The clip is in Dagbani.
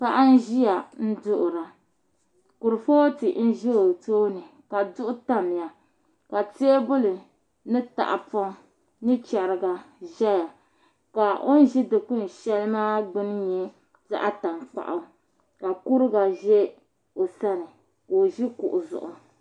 Paɣa n ʒiya n duɣura kurifooti n ʒɛ o tooni ka duɣu tamya ka teebuli ni tahapoŋ ni chɛrigi ʒɛya ka o ni ʒi dikpuni shɛli maa gbuni nyɛ zaɣ tankpaɣu ka kuriga ʒɛ o sani ka o ʒi kuɣu zuɣu